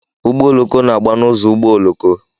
Ụgbọ ọloko na-gba n'uzo ụgbọ ọloko.